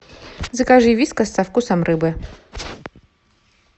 закажи вискас со вкусом рыбы